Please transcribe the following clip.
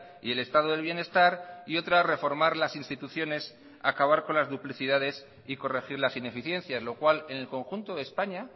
y el estado del bienestar y otra reformar las instituciones acabar con las duplicidades y corregir las ineficiencias lo cual en el conjunto de españa